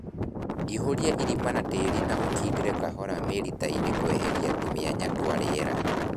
Ihũria irima na tĩri na ũkindĩre kahora mĩritainĩ kweheria tũmĩanya twa rĩera